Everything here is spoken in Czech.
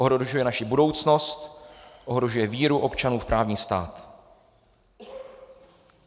Ohrožuje naši budoucnost, ohrožuje víru občanů v právní stát.